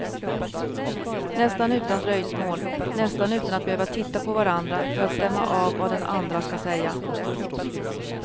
Nästan utan dröjsmål, nästan utan att behöva titta på varandra för att stämma av vad den andra ska säga.